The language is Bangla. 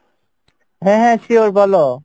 হ্যাঁ হ্যাঁ sure বলো।